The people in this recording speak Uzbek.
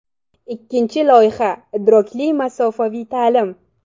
Ikkinchi loyiha - idrokli masofaviy ta’lim.